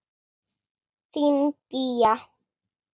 Þín, Gígja.